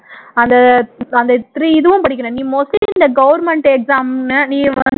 அந்த அந்த three இதுவும் படிக்கிற நீ mostly இந்த government exam